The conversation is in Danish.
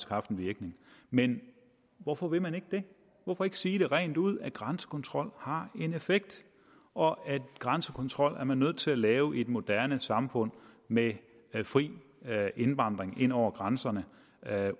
haft en virkning men hvorfor vil man ikke det hvorfor ikke sige rent ud at grænsekontrol har en effekt og at grænsekontrol er man nødt til at lave i et moderne samfund med fri indvandring ind over grænserne